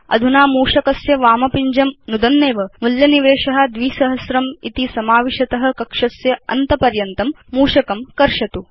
अधुना मूषकस्य वाम पिञ्जं नुदन्नेव मूल्य निवेश 2000 इति समाविशत कक्षस्य अन्त पर्यन्तं मूषकं कर्षतु